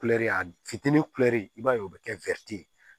Kulɛri a fitinin kulɛri i b'a ye o bɛ kɛ ye